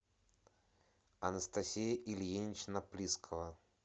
анастасия ильинична прискова